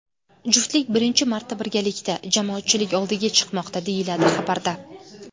Juftlik birinchi marta birgalikda jamoatchilik oldiga chiqmoqda, deyiladi xabarda.